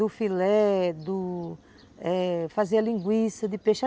Do filé, do eh... Fazer a linguiça de peixe.